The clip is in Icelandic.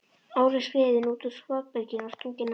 Óli skriðinn út úr skotbyrginu og stunginn af.